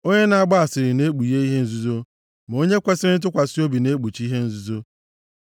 Onye na-agba asịrị na-ekpughe ihe nzuzo, ma onye kwesiri ntụkwasị obi na-ekpuchi ihe nzuzo.